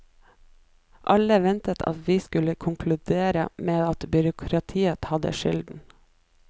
Alle ventet at vi skulle konkludere med at byråkratiet hadde skylden.